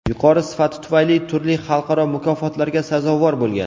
Yuqori sifati tufayli turli xalqaro mukofotlarga sazovor bo‘lgan.